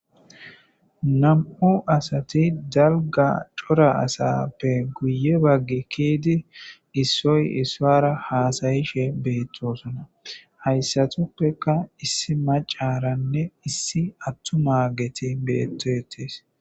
nam'u asati dalga cora asappe guye baggi kiidi issoy issara haasayishe beettosona hayssatuppeka issi macaranne issi attumageti beettetes